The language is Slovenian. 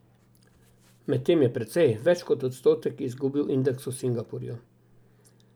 Medtem je precej, več kot odstotek, izgubil indeks v Singapurju.